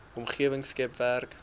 omgewing skep werk